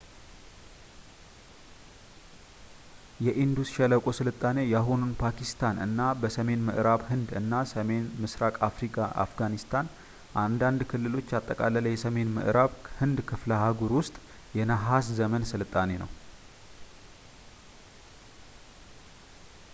የኢንዱስ ሸለቆ ስልጣኔ የአሁኑን ፓኪስታን እና በሰሜን ምዕራብ ህንድ እና ሰሜን ምስራቅ አፍጋኒስታን አንዳንድ ክልሎችን ያጠቃለለ የሰሜን ምዕራብ ህንድ ክፍለ-አህጉር ውስጥ የነሃስ ዘመን ስልጣኔ ነው